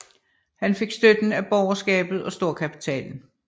Han fik støtte af borgerskabet og storkapitalen